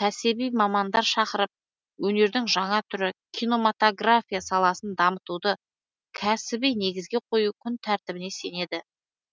кәсіби мамандар шақырып өнердің жаңа түрі кинематография саласын дамытуды кәсіби негізге қою күн тәртібіне сенеді